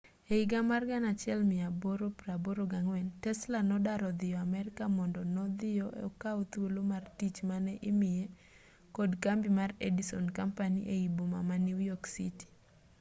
e higa mar 1884 tesla nodar odhiyo amerka mondo nodhiyo okaw thuolo mar tich mane imiye kod kambi mar edison company ei boma ma new york city